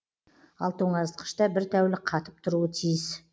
ал тоңазытқышта бір тәулік қатып тұруы тиіс